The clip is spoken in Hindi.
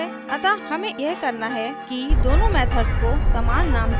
अतः हमें यह करना है कि दोनों methods को समान name देना है